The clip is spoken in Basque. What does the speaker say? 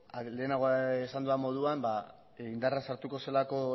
lehenago esan dudan moduan indarrean sartuko zelako